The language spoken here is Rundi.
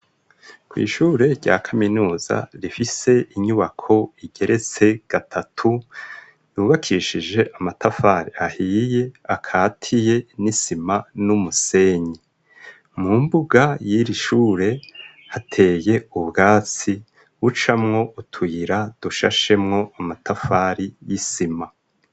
Kw'ishure rya kaminuza rifise inyubako igeretse gatatu yubakishije amatafari ahiye akatiye n'isima n'umusenyi, mu mbuga y'irishure hateye ubwatsi ucamwo utuyira dushashemwo amatafari y'isima.